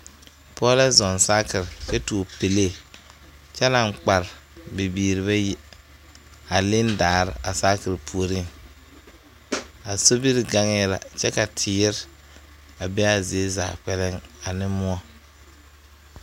Pɔge la zɔŋ saakere kyɛ tuo pɛlee kyɛ naŋ kpare bibiiri bayi a leŋ daare a saakere puoriŋ a sobiri gaŋɛɛ la kyɛ ka teere a be a zie zaa kpɛlɛŋ ane moɔ.